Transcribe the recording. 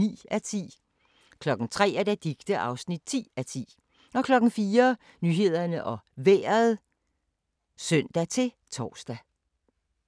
03:03: Orientering *(man-fre) 04:55: Danmark Kort *(man-ons og fre)